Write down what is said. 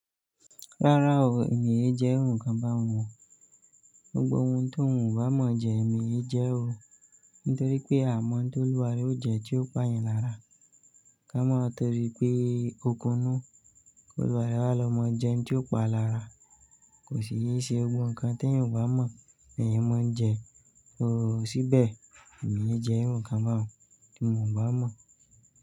Rárá o, èmi è jẹ́ iru ǹkan bá oun o. Gbogbo oun ti won bá mọ̀ jẹ èmi è jẹ́ o. Nítorí pé àmọ́ tó lúwaré ó jẹ́ tí ó pà yàn lára. Ká mọ́ torípé òkunú kò lúwaré wá lọmọ jẹ́ n tí ó pa lára. Kò sì yí ṣe gbogbo nkan tí èyan ò bá mọ̀ lèyan mọ̀ ń jẹ. Oò ṣíbẹ̀ èmi è jẹ́ nǹkan bá wọn tí mò ń bá mọ̀.